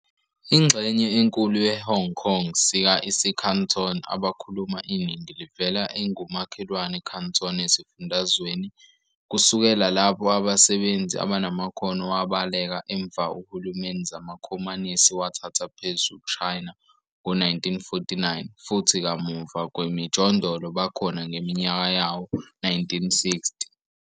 Ingxenye enkulu ye-Hong Kong sika isiCanton abakhuluma iningi livela engumakhelwane Canton esifundazweni, kusukela lapho abasebenzi abanamakhono wabaleka emva uhulumeni zamaKhomanisi wathatha phezu China ngo-1949 futhi kamuva kwemijondolo bakhona ngeminyaka yawo-1960.